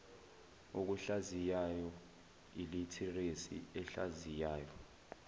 okuhlaziyayo ilitheresi ehlaziyayo